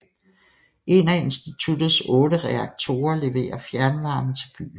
En af institutets otte reaktorer leverer fjernvarme til byen